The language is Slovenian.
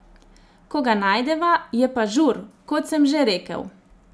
Ko ga najdeva, je pa žur, kot sem že rekel.